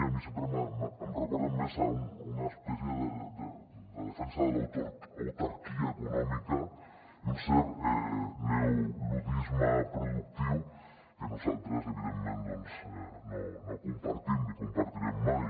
a mi sempre em recorden més a una espècie de defensa de l’autarquia econòmica i un cert neoluddisme productiu que nosaltres evidentment doncs no compartim ni compartirem mai